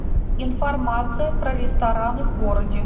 информация про рестораны в городе